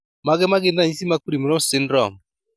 Mage magin ranyisi mag Primrose syndrome